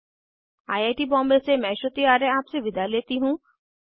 I I T Bombay से मैं श्रुति आर्य आपसे विदा लेती हूँ